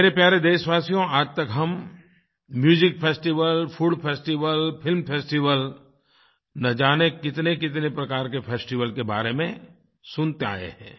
मेरे प्यारे देशवासियो आज तक हम music festival food festival film festival न जाने कितनेकितने प्रकार के फेस्टिवल के बारे में सुनते आए हैं